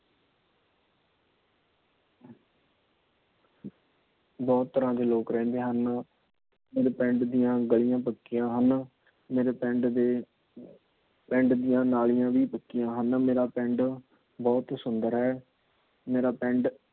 ਬਹੁਤ ਤਰ੍ਹਾਂ ਦੇ ਲੋਕ ਰਹਿੰਦੇ ਹਨ। ਮੇਰੇ ਪਿੰਡ ਦੀਆ ਗਲੀਆਂ ਪੱਕੀਆਂ ਹਨ। ਮੇਰੇ ਪਿੰਡ ਦੇ ਪਿੰਡ ਦੀਆ ਨਾਲੀਆਂ ਵੀ ਪੱਕੀਆਂ ਹਨ। ਮੇਰਾ ਪਿੰਡ ਬਹੁਤ ਹੀ ਸੁੰਦਰ ਹੈ। ਮੇਰਾ ਪਿੰਡ